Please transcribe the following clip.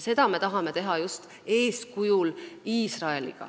Seda me tahame teha just Iisraeli eeskujul.